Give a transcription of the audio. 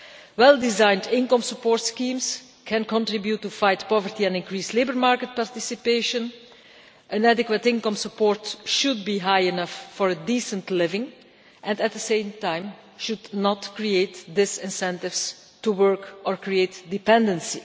Well designed income support schemes can contribute to fight poverty and increase labour market participation, and adequate income support should be high enough for a decent living and, at the same time, should not create disincentives to work or create dependency.